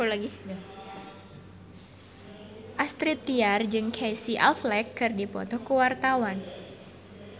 Astrid Tiar jeung Casey Affleck keur dipoto ku wartawan